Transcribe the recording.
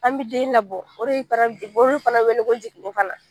An bɛ den labɔ o de fana wele ko jiginni fana